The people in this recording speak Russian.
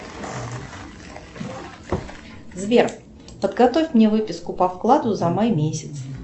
сбер подготовь мне выписку по вкладу за май месяц